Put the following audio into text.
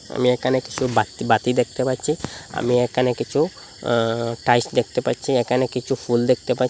আমি একানে কিছু বাত্তি বাতি দেখতে পাচ্ছি আমি একানে কিছু অ টাইস দেখতে পাচ্ছি একানে কিছু ফুল দেখতে পাচ্ছি।